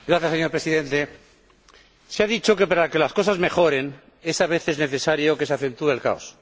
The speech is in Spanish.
Señor Presidente, se ha dicho que, para que las cosas mejoren, a veces es necesario que se acentúe el caos.